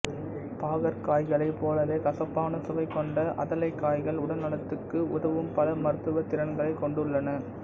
பாகற்காய்களைப் போலவே கசப்பான சுவை கொண்ட அதலைக்காய்கள் உடல்நலத்துக்கு உதவும் பல மருத்துவத் திறன்களைக் கொண்டுள்ளன